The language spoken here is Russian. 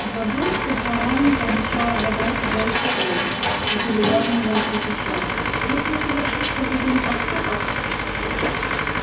забыл что твоя маменька обещала забрать тебя из школы и передразнивая пропищал если совершишь хоть один проступок